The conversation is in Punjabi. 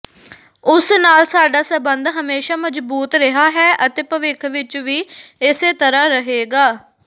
ਉਸ ਨਾਲ ਸਾਡਾ ਸਬੰਧ ਹਮੇਸ਼ਾਂ ਮਜ਼ਬੂਤ ਰਿਹਾ ਹੈ ਅਤੇ ਭਵਿੱਖ ਵਿੱਚ ਵੀ ਇਸੇ ਤਰ੍ਹਾਂ ਰਹੇਗਾ